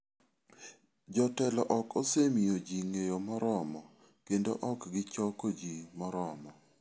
Jotelo ok osemiyo ji ng'eyo moromo kendo ok gichoko ji moromo.